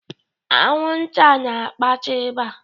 Anwụnta na-akpata ịba.